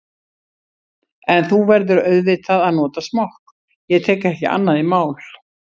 En þú verður auðvitað að nota smokk, ég tek ekki annað í mál.